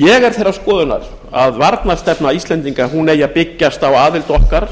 ég er þeirrar skoðunar að varnarstefna íslendinga eigi að byggjast á aðild okkar